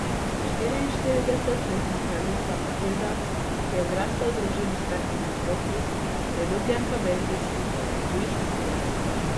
Štiriinštiridesetletna kraljica Matilda, ki je zrasla v družini s petimi otroki, je ljubljenka belgijskih in tujih medijev.